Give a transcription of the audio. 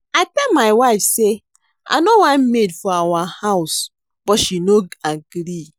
I tell my wife say I no want maid for our house but she no agree